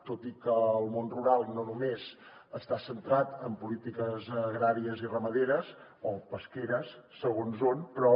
tot i que el món rural no només està centrat en polítiques agràries i ramaderes o pesqueres segons on però